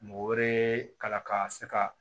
Mɔgɔ wɛrɛ kalan ka se ka